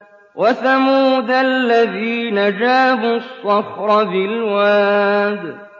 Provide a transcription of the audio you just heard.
وَثَمُودَ الَّذِينَ جَابُوا الصَّخْرَ بِالْوَادِ